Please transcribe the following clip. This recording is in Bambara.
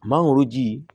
Mangoro ji